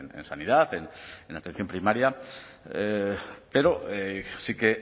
en sanidad en atención primaria pero sí que